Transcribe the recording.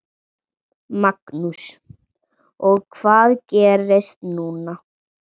Magnús: Og hvað gerist núna?